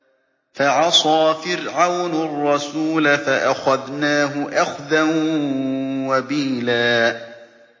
فَعَصَىٰ فِرْعَوْنُ الرَّسُولَ فَأَخَذْنَاهُ أَخْذًا وَبِيلًا